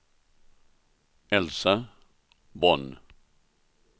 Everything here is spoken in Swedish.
Elsa Von